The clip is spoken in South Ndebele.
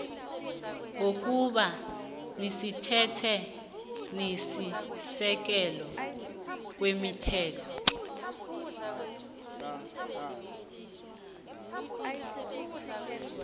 ngokuba semthethwenisisekelo kwemithetho